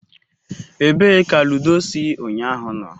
Ebee ka ludo si unyahu no?